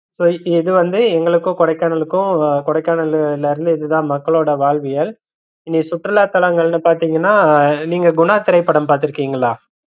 So இது வந்து எங்களுக்கும் கொடைக்கானலுக்கும் கொடைக்கானல்ல இது தான் மக்களோட வாழ்வியல் இங்க சுற்றுலா தளங்கள்ன்னு பாத்தீங்கன்னா நீங்க குணா திரைப்படம் பாத்திரிக்கிங்களா?